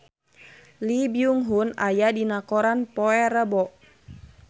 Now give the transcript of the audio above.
Lee Byung Hun aya dina koran poe Rebo